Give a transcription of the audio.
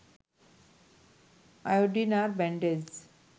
iodine আর bandage